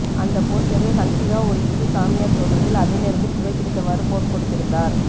அந்த போஸ்டரில் ஹன்சிகா ஒரு இந்து சாமியார் தோற்றத்தில் அதே நேரத்தில் புகை பிடித்தவாறு போஸ் கொடுத்திருந்தார்